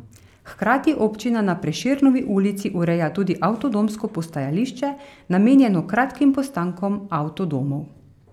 Hkrati občina na Prešernovi ulici ureja tudi avtodomsko postajališče, namenjeno kratkim postankom avtodomov.